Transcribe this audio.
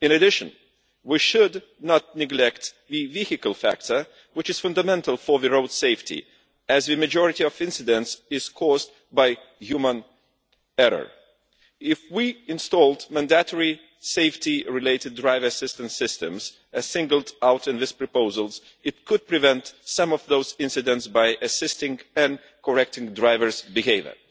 In addition, we should not neglect the vehicle factor, which is fundamental for road safety, as the majority of incidents are caused by human error. If we installed mandatory safety related driver assistance systems as singled out in these proposals, it could prevent some of those incidents by assisting and correcting drivers' behaviour.